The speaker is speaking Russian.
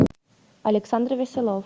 александр веселов